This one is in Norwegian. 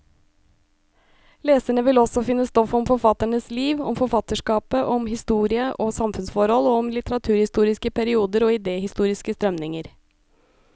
Leserne vil også finne stoff om forfatternes liv, om forfatterskapet, om historie og samfunnsforhold, og om litteraturhistoriske perioder og idehistoriske strømninger.